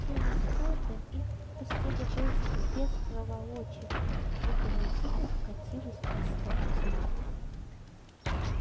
через кордон их пропустили быстро без проволочек и дрезина вкатилась на станцию